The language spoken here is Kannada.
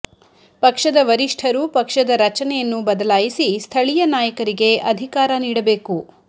ಪಕ್ಷದ ವರಿಷ್ಠರು ಪಕ್ಷದ ರಚನೆಯನ್ನು ಬದಲಾಯಿಸಿ ಸ್ಥಳೀಯ ನಾಯಕರಿಗೆ ಅಧಿಕಾರ ನೀಡಬೇಕು